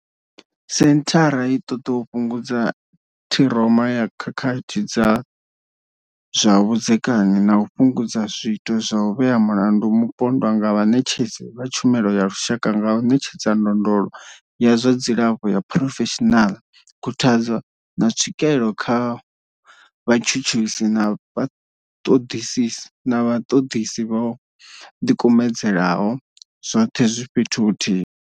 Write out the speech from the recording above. Senthara i ṱoḓa u fhungudza ṱhiroma ya khakhathi dza zwa vhudzekani na u fhungudza zwiito zwa u vhea mulandu mupondwa nga vhaṋetshedzi vha tshumelo ya lushaka nga u ṋetshedza ndondolo ya zwa dzilafho ya phurofeshinala, khuthadzo, na tswikelo kha vhatshutshisi na vhaṱoḓisi vho ḓikumedzaho, zwoṱhe zwi fhethu huthihi.